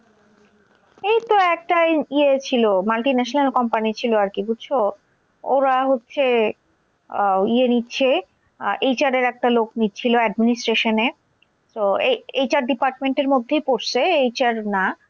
এই তো একটা ইয়ে ছিল multi national company ছিল আরকি বুঝছো? ওরা হচ্ছে আহ ইয়ে নিচ্ছে HR এর একটা লোক নিচ্ছিল administration এ তো HR department এর মধ্যেই পরসে, HR না।